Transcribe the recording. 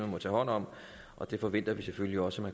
må tage hånd om og det forventer vi selvfølgelig også